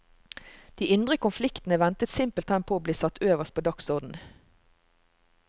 De indre konfliktene ventet simpelthen på å bli satt øverst på dagsorden.